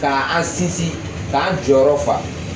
Ka an sinsin k'an jɔyɔrɔ fa